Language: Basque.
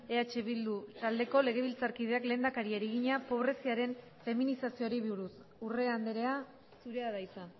eh bildu taldeko legebiltzarkideak lehendakariari egina pobreziaren feminizazioari buruz urrea andrea zurea da hitza